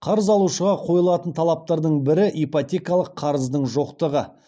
қарыз алушыға қойылатын талаптардың бірі ипотекалық қарыздың жоқтығы